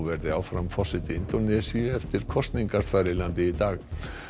verði áfram forseti Indónesíu eftir kosningar þar í landi í dag